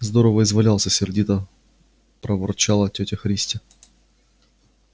здорово извалялся сердито проворчала тётя христя